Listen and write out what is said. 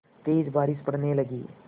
तेज़ बारिश पड़ने लगी